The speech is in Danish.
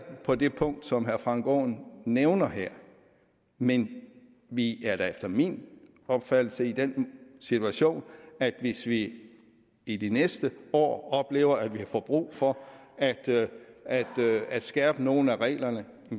på det punkt som herre frank aaen nævner her men vi er da efter min opfattelse i den situation at hvis vi i de næste år oplever at vi får brug for at at skærpe nogle af reglerne